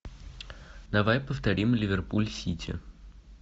давай повторим ливерпуль сити